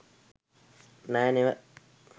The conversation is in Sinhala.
නෑ නෙව.